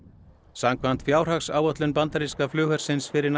samkvæmt fjárhagsáætlun bandaríska flughersins fyrir